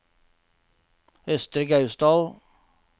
Østre Gausdal